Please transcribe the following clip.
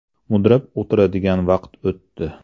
Mudrab o‘tiradigan vaqt o‘tdi.